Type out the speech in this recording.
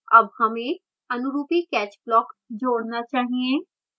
add हमें अनुरूपी catch block जोड़ना चाहिए